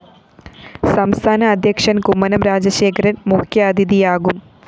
സംസ്ഥാന അധ്യക്ഷന്‍ കുമ്മനം രാജശേഖരന്‍ മുഖ്യാതിഥിയാകും